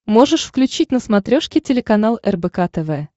можешь включить на смотрешке телеканал рбк тв